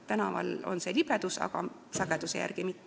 Tänaval on küll libedus, aga sagedamini kukutakse kodus.